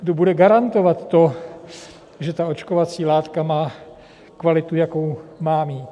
Kdo bude garantovat to, že ta očkovací látka má kvalitu, jakou má mít?